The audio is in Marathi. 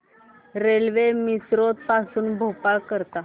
रेल्वे मिसरोद पासून भोपाळ करीता